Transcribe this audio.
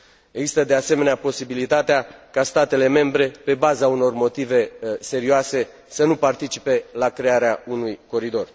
Există, de asemenea, posibilitatea ca statele membre, pe baza unor motive serioase, să nu participe la crearea unui coridor.